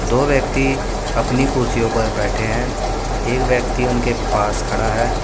दो व्यक्ति अपनी कुर्सियों पर बैठे हैं एक व्यक्ति उनके पास खडा है।